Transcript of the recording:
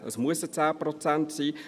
Es müssen 10 Prozent sein.